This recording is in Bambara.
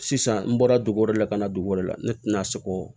Sisan n bɔra dugu wɛrɛ la ka na dugu wɛrɛ la ne tɛna se k'o